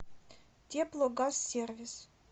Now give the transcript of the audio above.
теплогазсервис